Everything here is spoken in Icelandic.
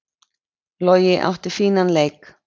Logi átti fínan leik